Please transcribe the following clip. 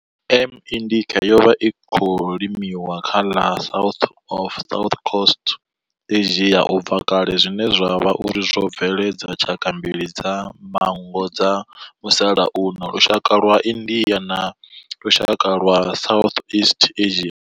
M. indica yo vha i tshi khou limiwa kha ḽa South na Southeast Asia ubva kale zwine zwa vha uri zwo bveledza tshaka mbili dza manngo dza musalauno lushaka lwa India na lushaka lwa Southeast Asia.